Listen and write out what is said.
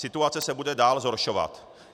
Situace se bude dál zhoršovat.